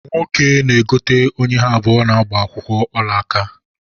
Nwoke na-egote onye ha abụọ na-gbaa akwụkwọ olaaka